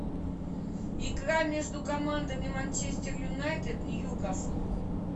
игра между командами манчестер юнайтед ньюкасл